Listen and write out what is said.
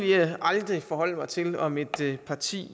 jeg aldrig forholde mig til om et parti